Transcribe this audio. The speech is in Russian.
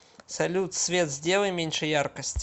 салют свет сделай меньше яркость